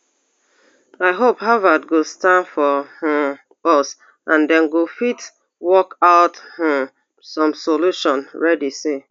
i hope harvard go stand for um us and dem go fit work out um some solution reddy say